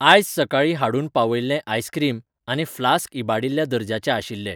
आयज सकाळीं हाडून पावयल्ले आइसक्रीम आनी फ्लास्क इबाडिल्ल्या दर्जाचे आशिल्ले.